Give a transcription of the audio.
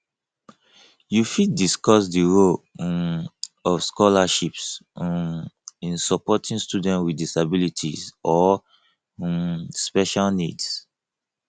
you fit discuss di role um of scholarships um in supporting students with disabilities or um special needs